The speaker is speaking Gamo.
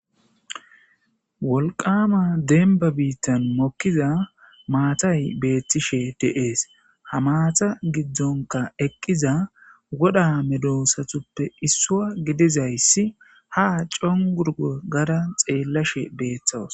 wolqama denba biittan mokkiza maatay beettishe deees ha maata giddonka eqqiza woda medosatuppe issua gidizayssi ha congurgo gara xeellashe beeththawus